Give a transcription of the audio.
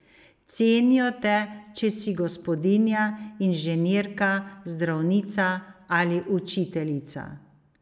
Cenijo te, če si gospodinja, inženirka, zdravnica ali učiteljica.